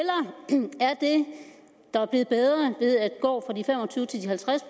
der bliver bedre ved at gå fra de fem og tyve til de halvtreds